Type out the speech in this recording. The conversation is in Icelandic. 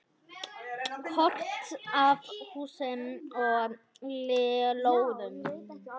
Kort af húsum og lóðum.